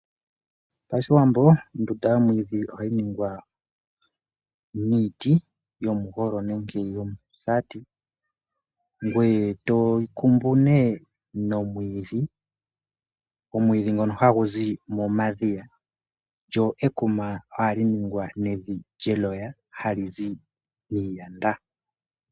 Pashiwambo ondunda yomwiidhi oha yi ningwa niiti, yomugolo nenge yomusaati ngweye to yi kumbu ne nomwiidhi, omwiidhi ngo ha gu zi momadhiya, lyo ekuma oha li ningwa nevi lye loya ha li zi miiyanda.